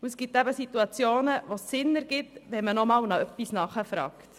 Es gibt Situationen, wo es Sinn macht, wenn man nachfragt.